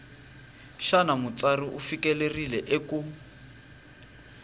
xana mutsari u fikelerile eku